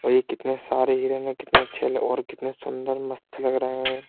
और ये कितने सारे हिरण है कितने अच्छे और कितने सुंदर मस्त लग रहे हैं।